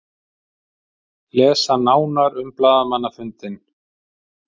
Lesa nánar um blaðamannafundinn.